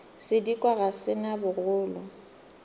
sedikwa ga se na bogolo